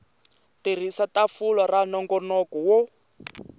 tirhisa tafula ra nongonoko wo